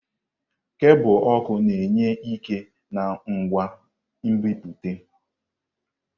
Kebul ọkụ na-enye ike na ngwa nbipute.